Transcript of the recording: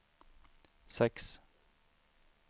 sex